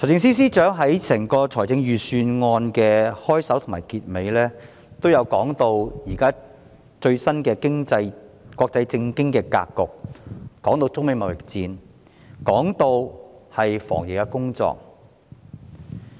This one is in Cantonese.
財政司司長在財政預算案的開首和結尾部分均提及最新的國際政經格局，也談到中美貿易戰和防疫工作。